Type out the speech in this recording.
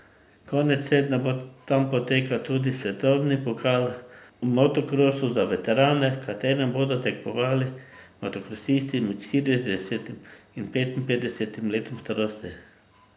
Konec tedna bo tam potekal tudi svetovni pokal v motokrosu za veterane, v katerem bodo tekmovali motokrosisti med štiridesetim in petinpetdesetim letom starosti.